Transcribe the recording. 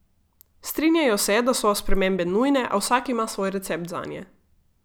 Strinjajo se, da so spremembe nujne, a vsak ima svoj recept zanje.